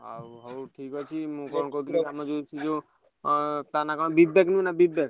ଆଉ ହଉ ଠିକ୍ ଅଛି ମୁଁ କଣ କହୁଥିଲି ଆମ ଯୋଉ ସେ ଯୋଉ ଅଁ ତା ନାଁ କଣ ବା ବିବେକ ନୁହଁ ନା ବିବେକ?